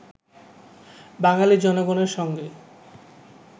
বাঙালী জনগণের সঙ্গে